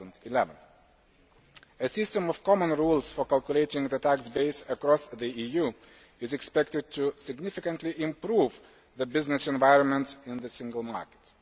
2011. A system of common rules for calculating the tax base across the EU is expected to significantly improve the business environment in the single market.